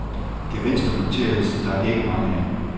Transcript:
Gevinster noteredes der ikke mange af.